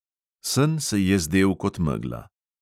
Sen se je zdel kot megla.